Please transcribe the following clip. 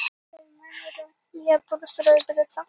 Strákarnir gengu fyrir.